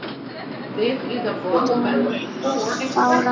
Lára Dan. Bára mín.